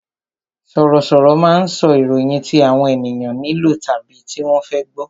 Sọ̀rọ̀ sọ̀rọ̀ máa ń sọ ìròyìn tí àwọn ènìyàn nílò tàbí tí wọ́n fẹ́ gbọ